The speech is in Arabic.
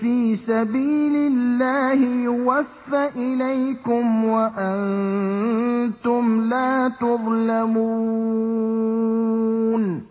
فِي سَبِيلِ اللَّهِ يُوَفَّ إِلَيْكُمْ وَأَنتُمْ لَا تُظْلَمُونَ